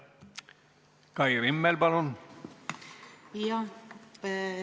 Kai Rimmel, palun!